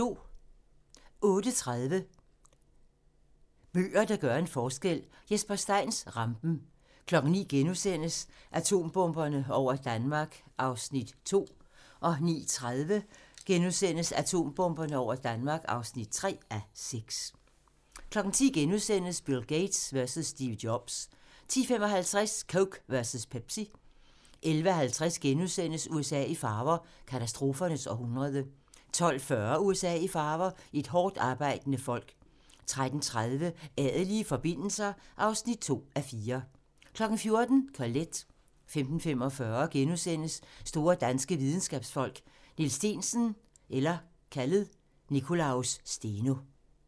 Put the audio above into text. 08:30: Bøger, der gør en forskel: Jesper Steins "Rampen" 09:00: Atombomberne over Danmark (2:6)* 09:30: Atombomberne over Danmark (3:6)* 10:00: Bill Gates versus Steve Jobs * 10:55: Coke versus Pepsi 11:50: USA i farver - katastrofernes århundrede * 12:40: USA i farver - et hårdtarbejdende folk 13:30: Adelige forbindelser (2:4) 14:00: Colette 15:45: Store danske videnskabsfolk: Niels Steensen (Nicolaus Steno) *